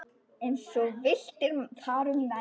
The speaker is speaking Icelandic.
Eins villti þar um menn.